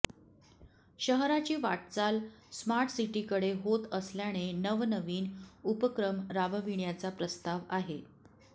शहराची वाटचाल स्मार्टसिटीकडे होत असल्याने नवनवीन उपक्रम राबविण्याचा प्रस्ताव आहे